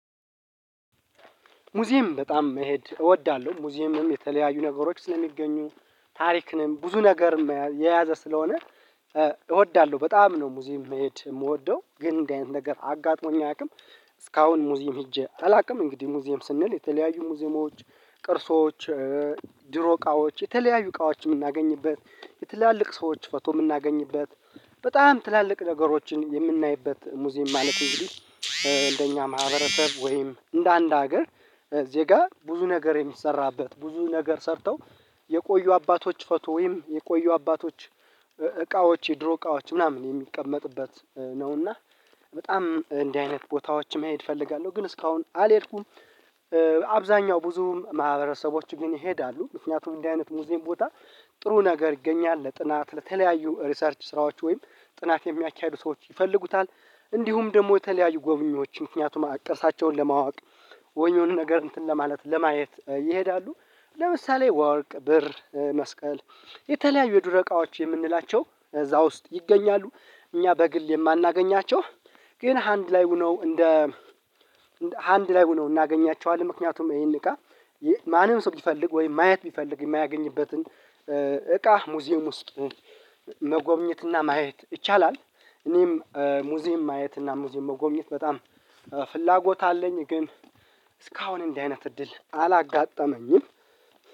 ሙዚየም በጣም መሄድ እወዳለሁ ሙዚየምም የተለያዩ ነገሮች ስለሚገኙ ታሪክንም ብዙ ነገር የያዘ ስለሆነ እወዳለሁ በጣም ነው ሙዚም መሄድ የምወደው ግን እንደዚህ አይነት ነገር አጋጥሞኝ አያውቅም እስካሁን ሙዚየም ሄጄ አላውቅም። እንግዲህ ሙዚየም ስንል የተለያዩ ሙዚየሞች ቅርሶች ድሮ እቃዎች የተለያዩ እቃዎች የምናገኝበት የትላልቅ ሰዎች ፈቶ የምናገኝበት በጣም ትላልቅ ነገሮችን የምናይበት ሙዚየም ማለት እንደኛ ማህበረሰብ ወይም እንደአንድ ሀገር ዜጋ ብዙ ነገር የሚሰራበት ብዙ ነገር ሰርተው የቆዩ አባቶች ፎቶ ወይም የቆዩ አባቶች እቃዎች የድሮ እቃዎች ምናምን የሚቀመጥበት ነውና በጣም እንዲህ አይነት ቦታዎችን መሄድ እፈልጋለሁ ግን እስካሁን አልሄድኩም። አብዛኛው ብዙም ማህበረሰቦች ግን ይሄዳሉ ምክንያቱም እንደዚህ አይነት ሙዚቀን ቦታ ጥሩ ነገር ይገኛል ለጥናት ለተለያዩ ሪሰርች ስራዎች ወይም ጥናት የሚያካሂዱ ሰዎች ይፈልጉታል እንዲሁም ደግሞ የተለያዩ ጎብኚዎች ምክንያቱም አቅርሳቸውን ለማወቅ ወይ የሆነ ነገር እንትን ለማለት ለማየት ይሄዳሉ። ለምሳሌ ወርቅ ብር መስቀል የተለያዩ የዱረቃዎች የምንላቸው እዛ ውስጥ ይገኛሉ እኛ በግል የማናገኛቸው ግን ሃንድ ላይ ሆኖ እንደ ሃንድ ላይ ሆኖ እናገኛቸዋለን ምክንያቱም ይሄን እቃ ማንም ሰው ቢፈልግ ወይም ማየት ቢፈልግ የማያገኝበትን እቃ ሙዚየም ውስጥ መጎብኘትና ማየት ይቻላል። እኔም ሙዚየም ማየት እና ሙዚየም መጎብኘት በጣም ፍላጎት አለኝ ግን እስካሁን እንዲህ አይነት እድል አላጋጠመኝም።